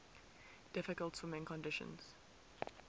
difficult swimming conditions